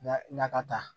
Na ka taa